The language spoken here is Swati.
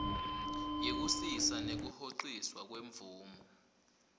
yekusisa nekuhociswa kwemvumo